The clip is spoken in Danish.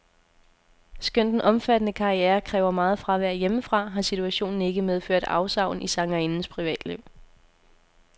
Skønt den omfattende karriere kræver meget fravær hjemmefra, har situationen ikke medført afsavn i sangerindens privatliv.